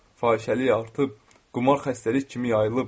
Fahişəlik artıb, qumar xəstəlik kimi yayılıb.